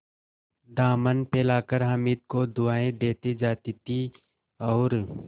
दामन फैलाकर हामिद को दुआएँ देती जाती थी और